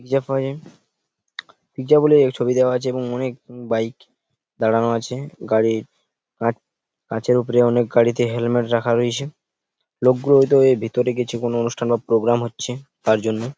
Pizza পাওয়া যায় pizza বলে এক ছবি দেওয়া আছে এবং অনেক বাইক দাঁড়ানো আছে গাড়ির কাট কাঁচের উপরে অনেক গাড়িতে হেলমে ট রাখা রয়েছে লোকগুলো হয়তো ভেতরে গেছে কোন অনুষ্ঠান বা প্রোগ্রাম হচ্ছে তার জন্য।